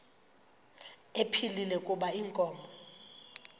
ephilile kuba inkomo